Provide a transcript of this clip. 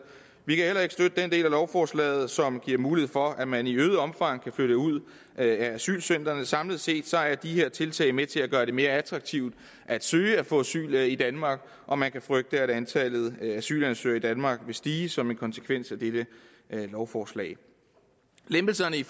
vi kan heller ikke støtte den del af lovforslaget som giver mulighed for at man i øget omfang kan flytte ud af asylcentrene samlet set er de her tiltag med til at gøre det mere attraktivt at søge og få asyl i danmark og man kan frygte at antallet af asylansøgere i danmark vil stige som en konsekvens af dette lovforslag lempelserne i